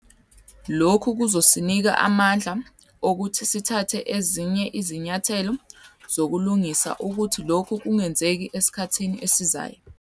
Lokhu kuzosinika amandla okuthi sithathe ezinye izinyathelo zokulungisa ukuthi lokhu kungenzeki esikhathini esizayo.